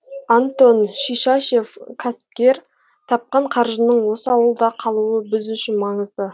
антон шишашев кәсіпкер тапқан қаржының осы ауылда қалуы біз үшін маңызды